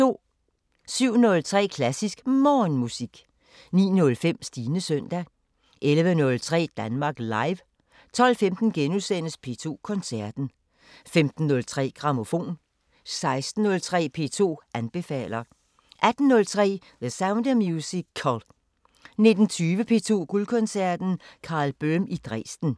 07:03: Klassisk Morgenmusik 09:05: Stines søndag 11:03: Danmark Live 12:15: P2 Koncerten * 15:03: Grammofon 16:03: P2 anbefaler * 18:03: The Sound of Musical 19:20: P2 Guldkoncerten: Karl Böhm i Dresden